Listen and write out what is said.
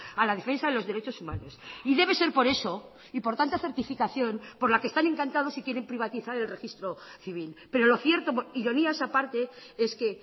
a la defensa de los derechos humanos y debe ser poreso y por tanta certificación por la que están encantados y quieren privatizar el registro civil pero lo cierto ironías a parte es que